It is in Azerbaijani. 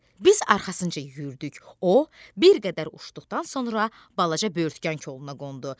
Biz arxasınca yüyürdük, o bir qədər uçduqdan sonra balaca böyürtkən koluna qondu.